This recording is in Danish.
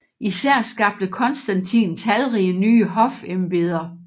Især skabte Konstantin talrige nye hofembeder